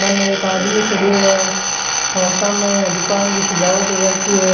बने एक आदमी खडियो है और सामे यहाँ दुकान की सजावट हो राखी है।